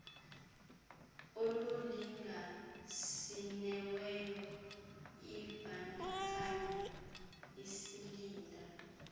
olulinganisiweyo ibandakanya iisilinda